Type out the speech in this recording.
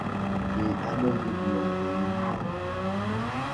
Mi ano kit noto imwae?